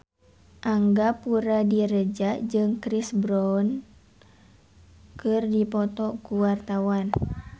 Angga Puradiredja jeung Chris Brown keur dipoto ku wartawan